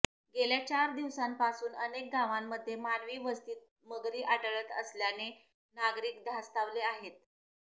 गेल्या चार दिवसांपासून अनेक गावांमध्ये मानवी वस्तीत मगरी आढळत असल्याने नागरिक धास्तावले आहेत